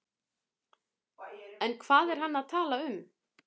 En hvað er hann að tala um?